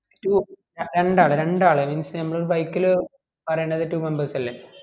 two രണ്ടാള് രണ്ടാള് means ഞമ്മള് ഒരു bikil പറയണത് two members അല്ലെ